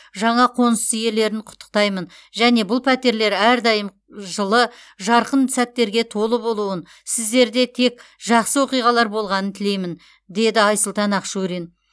жаңа қоныс иелерін құттықтаймын және бұл пәтерлер әрдайым жылы жарқын сәттерге толы болуын сіздерде тек жақсы оқиғалар болғанын тілеймін деді айсұлтан ақшурин